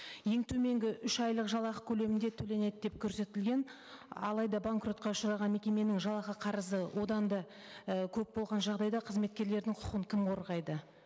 ең төменгі үш айлық жалақы көлемінде төленеді деп көрсетілген алайда банкротқа ұшыраған мекеменің жалақы қарызы одан да і көп болған жағдайда қызметкерлердің құқын кім қорғайды